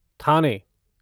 थाने